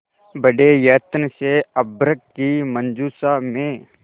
बड़े यत्न से अभ्र्रक की मंजुषा में